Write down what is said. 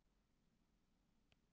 Málið sé í skoðun